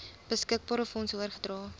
beskikbare fondse oorgedra